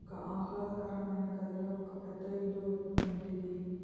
ఒక ఆహ్లాదకరమైన గదిలో ఒక పెద్ద ఇల్లు వంటిది